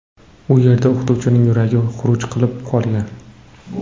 U yerda o‘qituvchining yuragi xuruj qilib qolgan.